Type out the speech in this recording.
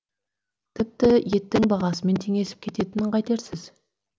тіпті еттің бағасымен теңесіп кететінін қайтерсіз